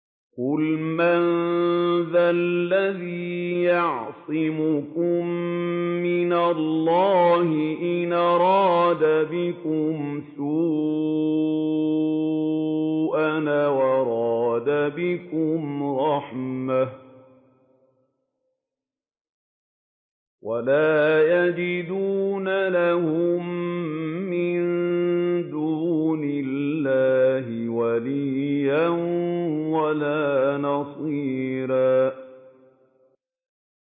قُلْ مَن ذَا الَّذِي يَعْصِمُكُم مِّنَ اللَّهِ إِنْ أَرَادَ بِكُمْ سُوءًا أَوْ أَرَادَ بِكُمْ رَحْمَةً ۚ وَلَا يَجِدُونَ لَهُم مِّن دُونِ اللَّهِ وَلِيًّا وَلَا نَصِيرًا